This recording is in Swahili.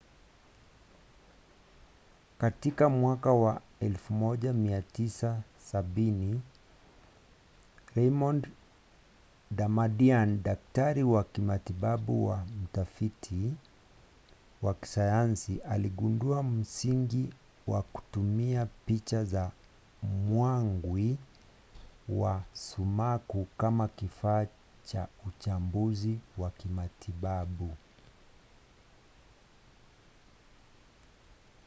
katika mwaka wa 1970 raymond damadian daktari wa kimatibabu na mtafiti wa kisayansi aligundua msingi wa kutumia picha za mwangwi wa sumaku kama kifaa cha utambuzi wa kimatibabu